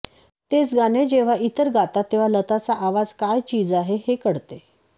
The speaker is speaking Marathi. तेच गाणे जेव्हा इतर गातात तेव्हा लताचा आवाज काय चीज आहे हे कळते